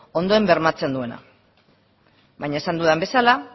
ondoen bermatzen duena baina esan dudan bezala